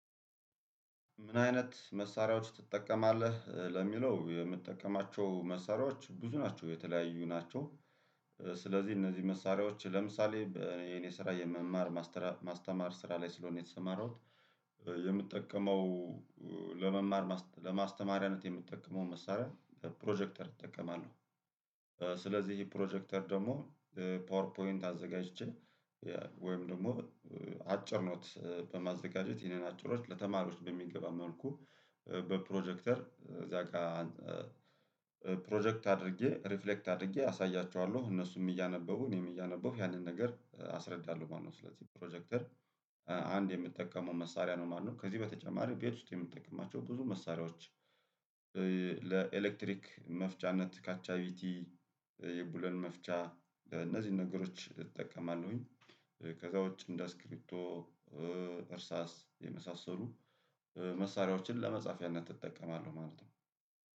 ምን አይነት መሳሪያዎች ትጠቀማለህ ለሚለው የምትጠቀማቸው መሳሪያዎች ብዙ ናቸው የተለያዩ ናቸው። ስለዚህ እነዚህ መሳሪያዎች ለምሳሌ የኔ ስራ የመማር ማስተማር ስራ ላይ ስለሆነ የተሰማራሁት። የምትጠቀመው። ለመማር ለማስተማሪያነት የምትጠቀመው መሳሪያ ፕሮጀክተር እጠቀማለሁ። ስለዚህ ይሄ ፕሮጀክተር ደግሞ ፓወር ፖይንት አዘጋጅቼ ወይም ደግሞ አጭር ኖት በማዘጋጀት ይሄንን አጭር ኖት ለተማሪዎች በሚገባ መልኩ በፕሮጀክተር እዛ ጋር። ፕሮጀክት አድርጌ ሪፍሌክት አድርጌ አሳያችኋለሁ እነሱም እያነበሁ እኔም እያነበሁክ ያንን ነገር አስረዳለሁ ማለት ነው። ስለዚህ ፕሮጀክተር አንድ የምትጠቀመው መሳሪያ ነው ማለት ነው። ከዚህ በተጨማሪ ቤት ውስጥ የምትጠቀማቸው ብዙ መሳሪያዎች። ለኤሌክትሪክ መፍቻነት ካቻቢቲ የብሎን መፍቻ እነዚህን ነገሮች ዕጠቀማለሁኝ። ከዛ ውጪ እንደ አስኪሪብቶ። እርሳስ የመሳሰሉ መሳሪያዎችን ለመጻፊያነት እጠቀማለሁ ማለት ነው።